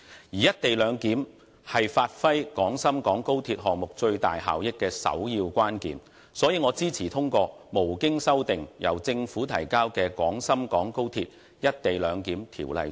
"一地兩檢"是發揮廣深港高鐵項目最大效益的首要關鍵，所以我支持通過無經修訂、由政府提交的《廣深港高鐵條例草案》。